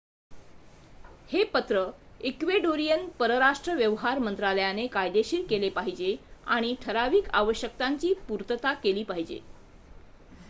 हे पत्र इक्वेडोरियन परराष्ट्र व्यवहार मंत्रालयाने कायदेशीर केले पाहिजे आणि ठराविक आवश्यकतांची पूर्तता केली पाहिजे